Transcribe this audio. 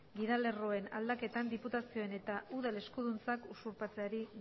gidalerroen lag aldaketan diputazioen eta udalen eskuduntzak usurpatzeari